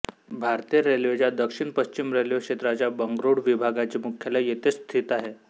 भारतीय रेल्वेच्या दक्षिण पश्चिम रेल्वे क्षेत्राच्या बंगळूर विभागाचे मुख्यालय येथेच स्थित आहे